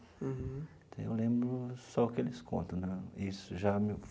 Uhum. Então, eu lembro só o que eles contam né isso já me.